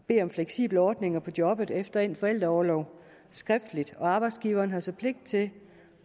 at bede om fleksible ordninger på jobbet efter endt forældreorlov skriftligt og arbejdsgiveren har så pligt til at